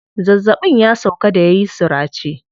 Zazzaɓin ya sauƙa da yayi surace.